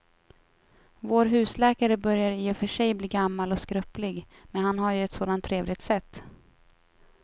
Vår husläkare börjar i och för sig bli gammal och skröplig, men han har ju ett sådant trevligt sätt!